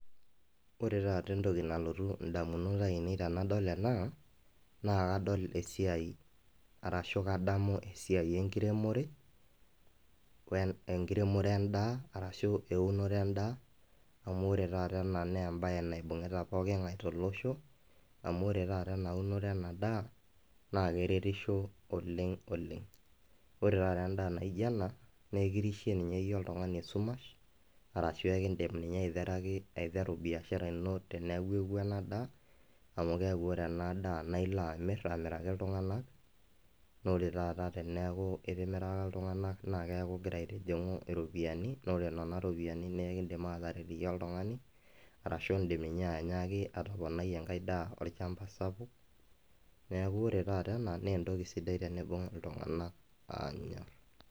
Wore taata entoki nalotu indamunot aiinei tenadol ena, naa kadol esiai arashu kadamu esiai enkiremore endaa, arashu eunore endaa. Amu wore taata ena naa embaye naibungita pokingae tolosho, amu wore taata enaunore ena daa naa keretisho oleng' oleng'. Wore taata endaa naijo ena, naa ekirishe ninye iyie oltungani esumash, arashu ekiidim ninye aiteraki, aiteru biashara ino, teneeku eutuo ena daa. Amu keaku wore ena daa naa ilo amirr amiraki iltunganak, naa wore taata teneeku itimiraka iltunganak naa keaku ikira aitijingu iropiyani, naa wore niana ropiyiani naa ekiidim aataret iyie oltungani, arashu iindim ninye ainyiaki atomonai enkae daa olchamba sapuk. Neeku wore taata ene naa entoki sidai teniimbung iltunganak aanya.